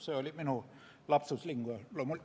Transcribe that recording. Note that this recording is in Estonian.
See oli minu lapsus linguae.